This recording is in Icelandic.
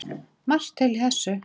Margt til í þessu.